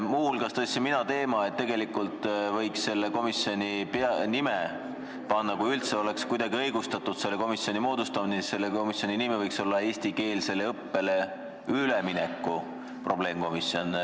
Muuhulgas tõstsin mina teema, et tegelikult, kui üldse oleks kuidagi õigustatud selle komisjoni moodustamine, siis võiks sellele nimeks panna "Eestikeelsele õppele ülemineku probleemkomisjon".